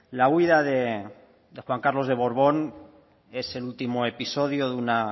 la huida de juan carlos de borbón es el último episodio de una